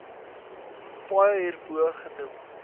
paaie hierbo genoem